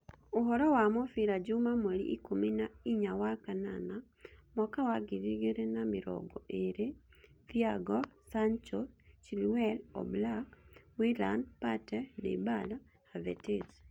Ũhoro wa mũbira juma mweri ikũmi na inya wa kanana mwaka wa ngiri igĩrĩ na mĩrongo ĩĩrĩ: Thiago, Sancho, Chilwell, Oblak, Willian, Partey, Dybala, Havertz